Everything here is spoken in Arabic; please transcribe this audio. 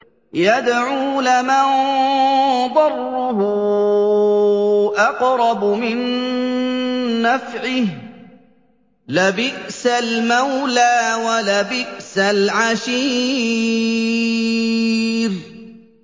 يَدْعُو لَمَن ضَرُّهُ أَقْرَبُ مِن نَّفْعِهِ ۚ لَبِئْسَ الْمَوْلَىٰ وَلَبِئْسَ الْعَشِيرُ